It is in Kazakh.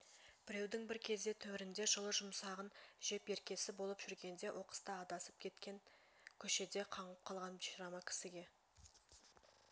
біреудің бір кезде төрінде жылы-жұмсағын жеп еркесі болып жүргенде оқыста адасып кетіп көшеде қаңғып қалған бишара ма кісіге